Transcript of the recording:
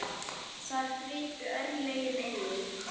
Þar gripu örlögin inn í.